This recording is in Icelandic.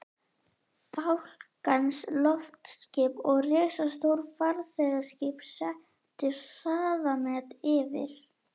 Fálkans, loftskip og risastór farþegaskip settu hraðamet yfir